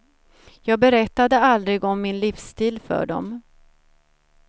Jag berättade aldrig om min livsstil för dem.